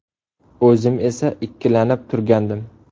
O‘zim esa ikkilanib turgandim.